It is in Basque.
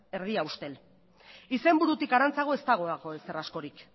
erdia ustel izenburutik harantzago ez dagoelako ezer askorik